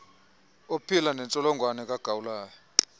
ophila nentsholongwane kagawulayo